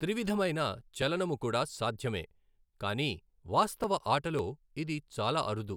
త్రివిధమైన చలనము కూడా సాధ్యమే, కానీ వాస్తవ ఆటలో ఇది చాలా అరుదు.